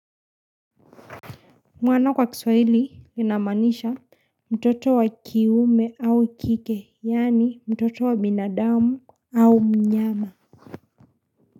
Mwana kwa kiswaili inamanisha mtoto wa kiume au kike yaani mtoto wa binadamu au mnyama.